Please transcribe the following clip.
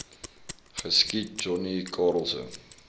geskiet johnny karelse